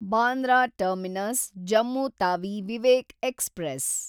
Bandra Terminus Jammu Tawi Vivek express